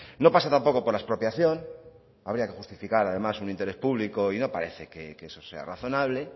no pase tampoco por la expropiación habría que justificar además un interés público y no parece que eso sea razonable